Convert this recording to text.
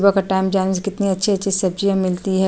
सुबह के टाइम जाने से कितनी अच्छी-अच्छी सब्जियां मिलती है।